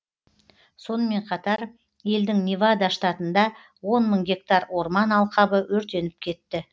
сонымен қатар елдің невада штатында он мың гектар орман алқабы өртеніп кетті